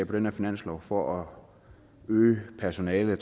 den her finanslov for at øge personalet og